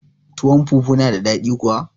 Tuwon fufu na da daɗi kuwa